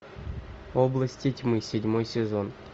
области тьмы седьмой сезон